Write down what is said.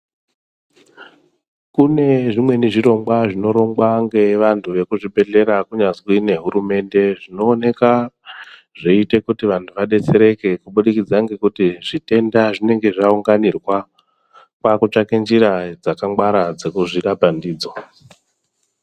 Kune zvimweni zvirongwa zvinorongwa ngevantu vekuzvidhedhlera kunyazwi nehurumende, zvinooneka zveiite kuti vantu vadetsereke kubudikidza ngekuti zvitenda zvinenge zvaunganirwa kwakutsvake njira dzakangwara dzekuzvirapa ndidzo.